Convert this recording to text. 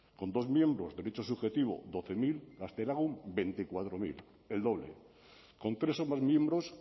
con dos miembros derecho subjetivo doce mil gaztelagun veinticuatro mil el doble con tres o más miembros